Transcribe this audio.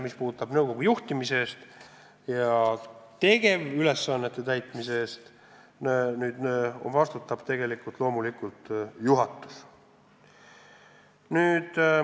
Tema vastutab nõukogu juhtimise eest, tööülesannete täitmise eest vastutab loomulikult juhatus.